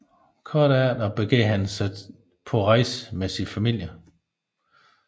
Kort efter begav han sig på rejsen med sin familie